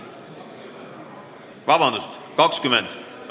Vabandust, nr 20!